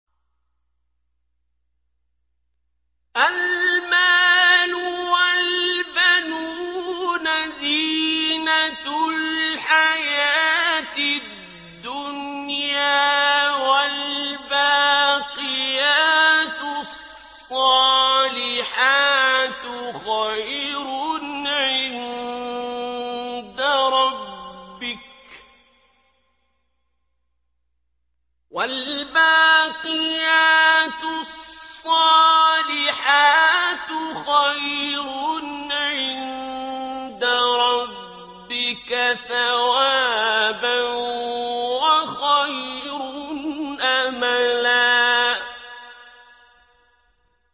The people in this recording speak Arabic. الْمَالُ وَالْبَنُونَ زِينَةُ الْحَيَاةِ الدُّنْيَا ۖ وَالْبَاقِيَاتُ الصَّالِحَاتُ خَيْرٌ عِندَ رَبِّكَ ثَوَابًا وَخَيْرٌ أَمَلًا